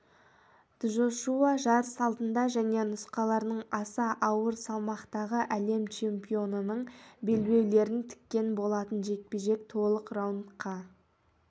джошуа жарыс алдында және нұсқаларының аса ауыр салмақтағы әлем чемпионының белбеулерін тіккен болатын жекпе-жек толық раундқа